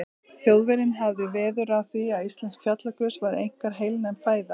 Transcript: Þjóðverjinn hafði veður af því, að íslensk fjallagrös væru einkar heilnæm fæða.